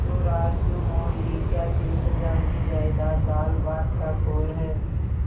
तो रार क्यों मोल ली क्या तीस हजार की जायदाद दालभात का कौर है